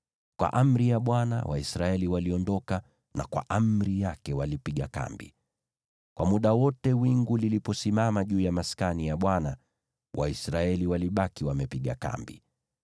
Kwa amri ya Bwana Waisraeli waliondoka, na kwa amri yake walipiga kambi. Kwa muda wote wingu liliposimama juu ya Maskani, Waisraeli walibaki wamepiga kambi.